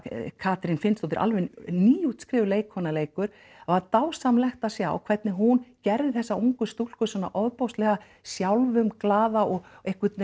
Katrín Finnsdóttir alveg nýútskrifuð leikkona leikur það var dásamlegt að sjá hvernig hún gerði þessa ungu stúlku svona ofboðslega sjálfumglaða og einhvern